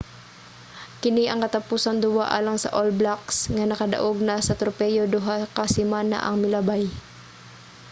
kini ang katapusang duwa alang sa all blacks nga nakadaog na sa tropeyo duha ka semana ang milabay